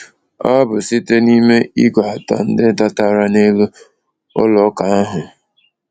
Ọ bụ site n’ime ígwè atọ ndị dọtara n’elu ụlọ ụka ahụ.